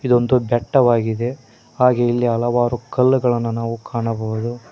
ಇದೊಂದು ಬೆಟ್ಟವಾಗಿದೆ ಹಾಗೆ ಇಲ್ಲಿ ಹಲವಾರು ಕಲ್ಲಗಳನ್ನ ನಾವು ಕಾಣಬಹುದು.